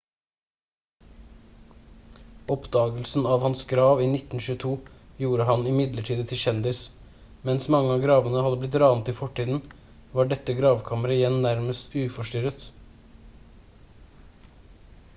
oppdagelsen av hans grav i 1922 gjorde ham imidlertid til kjendis mens mange av gravene hadde blitt ranet i fortiden var dette gravkammeret igjen nærmest uforstyrret